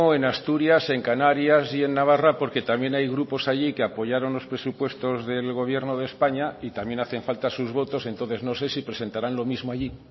en asturias en canarias y en navarra porque también hay grupos allí que apoyaron los presupuestos del gobierno de españa y también hacen falta sus votos entonces no sé si presentarán lo mismo allí